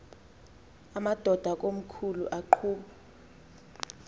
amadod akomkhul eqhub